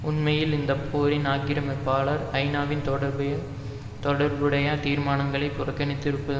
உண்மையில் இந்த போரின் ஆக்கிரமிப்பாளர் ஐநாவின் தொடர்புடைய தீர்மானங்களை புறக்கணித்திருப்பது